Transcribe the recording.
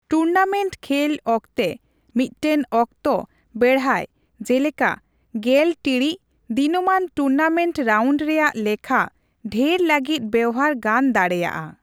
Tournament ᱠᱷᱮᱹᱞ ᱚᱠᱛᱮ, ᱢᱤᱫᱴᱟᱝ ᱚᱠᱛᱚ ᱵᱮᱲᱦᱟᱭ, ᱡᱮᱞᱮᱠᱟ ᱑᱐ ᱴᱤᱲᱤᱡ, ᱫᱤᱱᱟᱹᱢᱟᱱ ᱴᱩᱨᱱᱟᱢᱮᱱᱴ ᱨᱟᱣᱩᱱᱰ ᱨᱮᱭᱟᱜ ᱞᱮᱠᱷᱟ ᱰᱷᱮᱨ ᱞᱟᱹᱜᱤᱫ ᱵᱮᱣᱦᱟᱨ ᱜᱟᱱ ᱫᱟᱲᱮᱭᱟᱜᱼᱟ ᱾